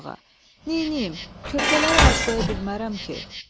Neynim, körpələrə acıqoya bilmərəm ki.